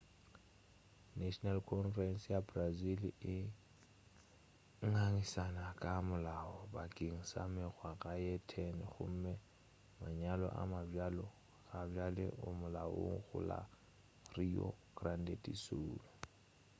national congress ya brazil e ngangišane ka molao bakeng sa mengwaga ye 10 gome manyalo a mabjalo gabjale a molaong go la rio grande do sul